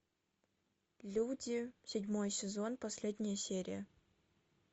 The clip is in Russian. люди седьмой сезон последняя серия